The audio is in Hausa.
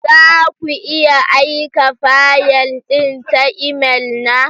Za ku iya aika fayil ɗin ta imel na?